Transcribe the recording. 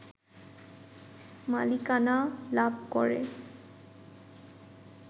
মালিকানা লাভ করে